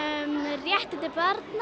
réttindi barna